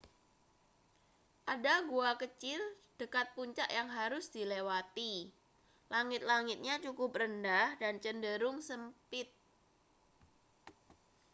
ada gua kecil dekat puncak yang harus dilewati langit-langitnya cukup rendah dan cenderung sempit